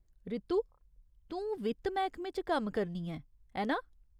रितु, तूं वित्त मैह्कमे च कम्म करनी ऐं, ऐ ना ?